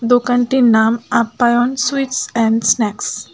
দোকানটির নাম Apyayan sweets and snacks.